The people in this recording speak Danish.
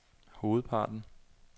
hovedparten